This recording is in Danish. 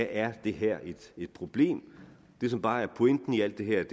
er det her et problem det som bare er pointen i alt det her